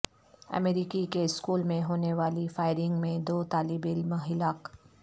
امریکی کے اسکول میں ہونے والی فائرنگ میں دو طالب علم ہلاک